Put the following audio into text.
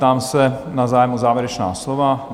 Ptám se na zájem o závěrečná slova?